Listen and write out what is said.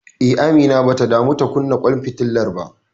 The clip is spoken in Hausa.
Eh, Amina bata damu ta kunna ƙwan fitilar ba.